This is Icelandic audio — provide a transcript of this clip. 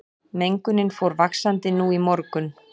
Mengunin fór vaxandi nú í morgun